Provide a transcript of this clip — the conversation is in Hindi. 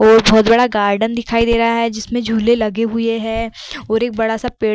और बहोत बड़ा गार्डन दिखाई दे रहा है जिसमे झूले लगे हुए हैं और एक बड़ा सा पेड़ --